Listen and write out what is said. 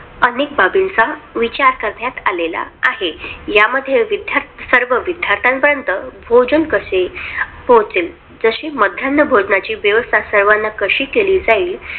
अनेक बाबीचा विचार करण्यात आलेला आहे. या मध्ये सर्व विध्यार्थ्यापर्यंत भोजन कसे पोहचेल? जशी मध्यान्न भोजण्याची व्यवस्था सर्वांना कशी केली जाईल. अनेक बाबींचा विचार करण्यात आलेला आहे.